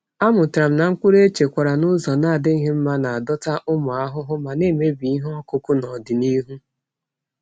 Amụtara m na mkpụrụ echekwara n’ụzọ na-adịghị mma na-adọta ụmụ ahụhụ ma na-emebi ihe ọkụkụ n’ọdịnihu.